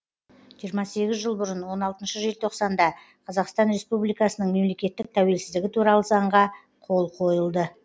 жиырма сегіз жыл бұрын он алтыншы желтоқсанда қазақстан республикасының мемлекеттік тәуелсіздігі туралы заңға қол қойылды